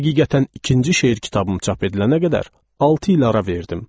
Həqiqətən ikinci şeir kitabım çap edilənə qədər altı il ara verdim.